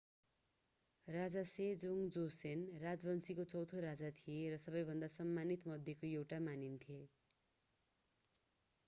राजा Sejong Joseon राजवंशको चौँथो राजा थिए र सबैभन्दा सम्मानित मध्येको एउटा मानिन्छ